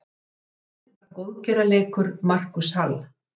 Leikurinn var góðgerðarleikur Marcus Hall.